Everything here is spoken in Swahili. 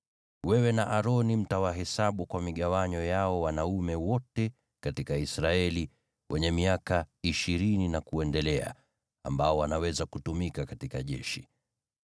Wewe na Aroni mtawahesabu kwa migawanyo yao wanaume wote katika Israeli wenye miaka ishirini na kuendelea ambao wanaweza kutumika katika jeshi.